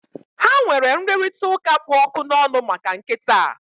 Ha nwere nrụrịtaụ́ká kpụ ọkụ n'ọnụ maka nkịta a